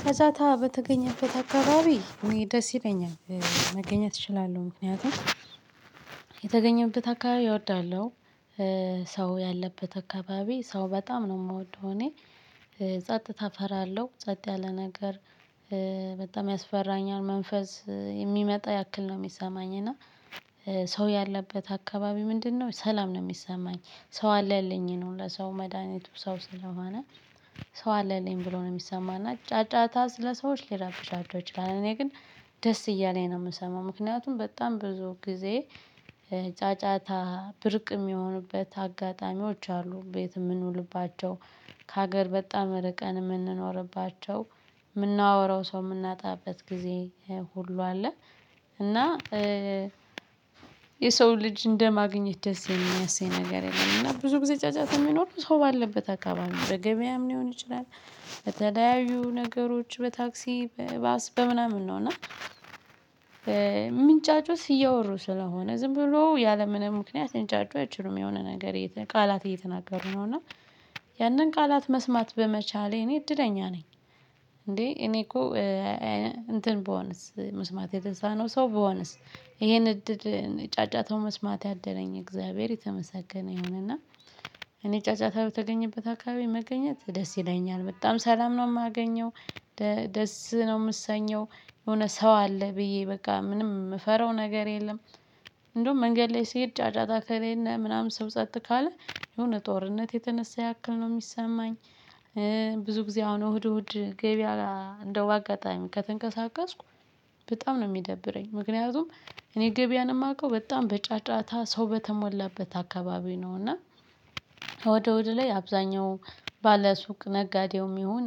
ከዛ ታ በተገኘበት አካባቢ እኔ ደስ ይለኛል መገኘት እችላለሁ ምክንያቱም የተገኘበት አካባቢ እወዳለሁ። ሰው ያለበት አካባቢ ሰው በጣም ነው የምወደው እኔ ጸጥታ እፈራለሁ ጸጥ ያለ ነገር። በጣም ያስፈራኛል መንፈስ የሚመጣ ያክል ነው የሚሰማኝ እና። ሰው ያለበት አካባቢ ምንድነው ሰላም ነው የሚሰማኝ ሰው አለልኝ ነው ለሰው መድሃኒቱ ሰው ስለሆነ። ሰው አለልኝ ብሎ ነው የሚሰማና ጫጫታ ስለሰዎች ሊራብሻቸው ይችላል እኔ ግን ደስ እያለኝ ነው የምሰማው። ምክንያቱም በጣም ብዙ ጊዜ ጫጫታ ብርቅ የሚሆኑበት አጋጣሚዎች አሉ ቤት የምንውልባቸው። ከሀገር በጣም ርቀን የምንኖርባቸው የምናወራው ሰው የምናጣበት ጊዜ ሁሉ አለ። እና የሰው ልጅ እንደማግኘት ደስ የሚያሰኝ ነገር የለም። እና ብዙ ጊዜ ጫጫታ የሚኖረው ሰው ባለበት አካባቢ በገበያም ሊሆን ይችላል። በተለያዩ ነገሮች በታክሲ በባስ በምናምን ነው እና። ምንጫጩት እያወሩ ስለሆነ ዝም ብሎ ያለምንም ምክንያት ሊንጫጩ አይችሉም የሆነ ነገር ቃላት እየተናገሩ ነው እና ያንን ቃላት መስማት በመቻሌ እኔ እድለኛ ነኝ። እንዴ እኔ እኮ እንትን ብሆንስ መስማት የተሳነው ሰው በሆነስ ይሄን እድል ጫጫታው መስማት ያደለኝ እግዚአብሔር የተመሰገነ ይሆንና። እኔ ጫጫታ በተገኘበት አካባቢ መገኘት ደስ ይለኛል በጣም ሰላም ነው የማገኘው። ደስ ነው የምሰኘው የሆነ ሰው አለ ብዬ በቃ ምንም የምፈራው ነገር የለም። እንደውም መንገድ ላይ ሲሄድ ጫጫታ ከሌለ ምናምን ስው ጸጥ ካለ የሆነ ጦርነት የተነሳ ያክል ነው የሚሰማኝ። ብዙ ጊዜ አሁን እሁድ እሁድ ገበያ እንደው አጋጣሚ ከተንቀሳቀስኩ በጣም ነው የሚደብረኝ ምክንያቱም። እኔ ገበያ ነው የማውቀው በጣም በጫጫታ ሰው በተሞላበት አካባቢ ነው እና። እሁድ እሁድ ላይ አብዛኛው ባለ ሱቅ ነጋዴውም ይሁን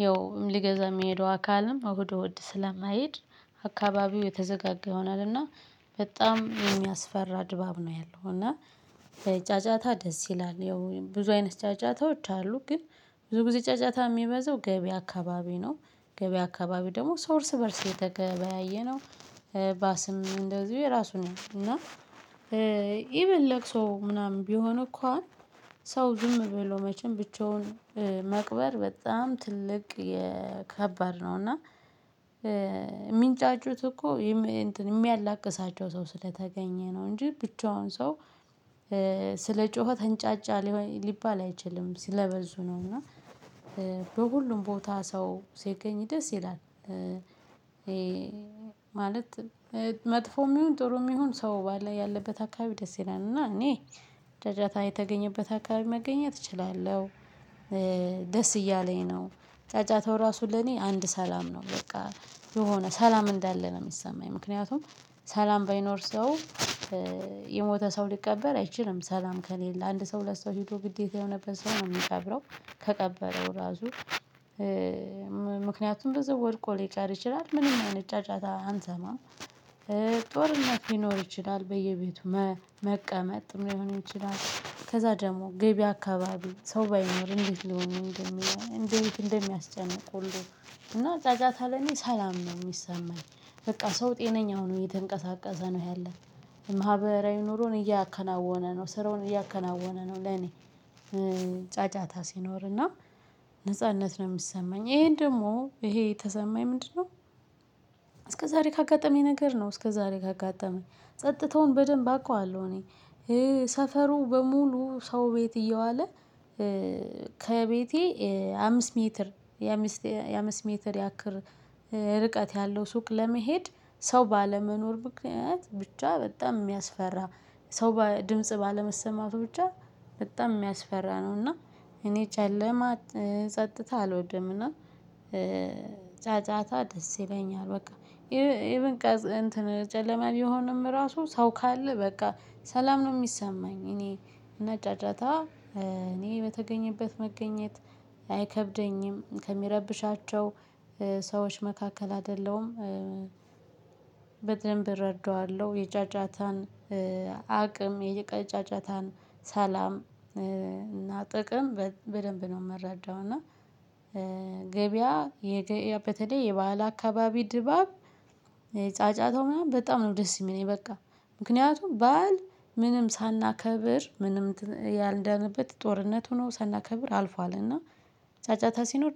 ይኸው ሊገዛ የሚሄደው አካልም እሁድ እሁድ ስለማይሄድ አካባቢው የተዘጋጋ ይሆናልና። በጣም የሚያስፈራ ድባብ ነው ያለው እና። በጫጫታ ደስ ይላል ያው ብዙ አይነት ጫጫታዎች አሉ ግን ብዙ ጊዜ ጫጫታ የሚበዛው ገበያ አካባቢ ነው። ገበያ አካባቢ ደግሞ ሰው እርስ በእርስ የተገበያየነው። ባስም እንደዚሁ የራሱን እና ኢቭን ለቅሶ ምናምን ቢሆን እንኳን ሰው ዝም ብሎ መቼም ብቻውን መቅበር በጣም ትልቅ የከባድ ነው እና። የሚንጫጩት እኮ የሚያላቅሳቸው ሰው ስለተገኘ ነው እንጂ ብቻውን ሰው። ስለ ጮኸ ተንጫጫ ሊባል አይችልም ስለ በዙ ነው እና። በሁሉም ቦታ ሰው ሲገኝ ደስ ይላል። ማለት መጥፎም ይሁን ጥሩም ይሁን ሰው ባለ ያለበት አካባቢ ደስ ይላል እና እኔ ጫጫታ የተገኘበት አካባቢ መገኘት እችላለሁ። ደስ እያለኝ ነው። ጫጫታው ራሱ ለኔ አንድ ሰላም ነው በቃ የሆነ ሰላም እንዳለ ነው የሚሰማኝ ምክንያቱም። ሰላም ባይኖር ሰው የሞተ ሰው ሊቀበር አይችልም ሰላም ከሌለ አንድ ሰው ሁለት ሰው ሄዶ ግዴታ የሆነበት ሰው ነው የሚቀብረው። ከቀበረው ራሱ ምክንያቱም በዛው ወድቆ ሊቀር ይችላል ምንም አይነት ጫጫታ አንሰማም። ጦርነት ሊኖር ይችላል በየቤቱ። መቀመጥም ሊሆን ይችላል ከዛ ደግሞ ገቢ አካባቢ ሰው ባይኖር እንዴት ሊሆን እንደሚለው እንዴት እንደሚያስጨንቁልን? እና ጫጫታ ላይ እኔ ሰላም ነው የሚሰማኝ። በቃ ሰው ጤነኛ ሆኖ እየተንቀሳቀሰ ነው ያለ። ማህበራዊ ኑሮን እያከናወነ ነው ስራውን እያከናወነ ነው ለኔ። ጫጫታ ሲኖርና ነጻነት ነው የሚሰማኝ ይሄን ደግሞ ይሄ የተሰማኝ ምንድነው? ካጋጠመኝ ነገር ነው እስከዛሬ ካጋጠመኝ ጸጥታውን በደንብ አውቀዋለሁ እኔ። ሰፈሩ በሙሉ ሰው ቤት እየዋለ። ከቤቴ አምስት ሜትር የአምስት ሜትር ያክል ርቀት ያለው ሱቅ ለመሄድ ሰው ባለመኖር ምክንያት ብቻ በጣም የሚያስፈራ ሰው ድምጽ ባለመሰማቱ ብቻ። በጣም የሚያስፈራ ነው እና እኔ ጨለማ ጸጥታ አልወድምና። ጫጫታ ደስ ይለኛል በቃ። ይሄ ኢቭን እንትን ጨለማ ቢሆንም ራሱ ሰው ካለ በቃ ሰላም ነው የሚሰማኝ እኔ። እና ጫጫታ እኔ በተገኘበት መገኘት አይከብደኝም ከሚረብሻቸው ሰዎች መካከል አይደለሁም። በደንብ እረዳዋለሁ የጫጫታን። አቅም የጫጫታን ሰላም እና ጥቅም በደንብ ነው የምረዳው እና። ገበያ በተለይ የበአል አካባቢ ድባብ። ጫጫታው ምናምን በጣም ነው ደስ የሚለኝ በቃ። ምክንያቱም በዓል ምንም ሳናከብር ምንም ያልዳነበት ጦርነቱ ሆኖ ሳናከብር አልፏል እና። ጫጫታ ሲኖር